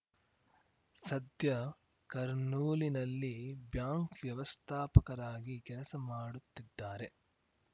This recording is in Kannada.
ಸದ್ಯ ಕರ್ನೂಲಿನಲ್ಲಿ ಬ್ಯಾಂಕ್‌ ವ್ಯವಸ್ಥಾಪಕರಾಗಿ ಕೆಲಸ ಮಾಡುತ್ತಿದ್ದಾರೆ